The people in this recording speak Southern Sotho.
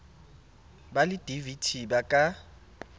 ba le dvt ba ka